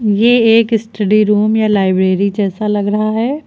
ये एक study room या लाइब्रेरी जैसा लग रहा है।